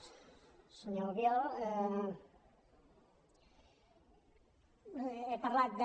senyor albiol he parlat de